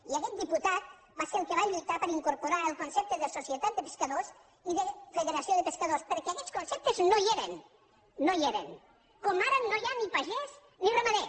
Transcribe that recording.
i aguest diputat va ser el que va lluitar per incorporar el concepte de societat de pescadors i de federació de pescadors perquè aguests conceptes no hi eren no hi eren com ara no hi ha ni pagès ni ramader